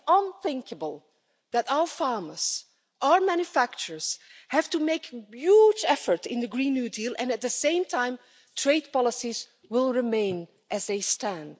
It is unthinkable that our farmers, our manufacturers, have to make a huge effort in the new Green Deal and at the same time trade policies will remain as they stand.